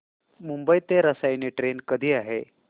मुंबई ते रसायनी ट्रेन कधी आहे